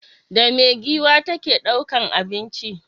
Da me giwa ta ke ɗaukan abinci?